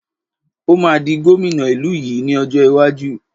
Ó máa di gómìnà ìlú yìí ni ọjọ́ iwájú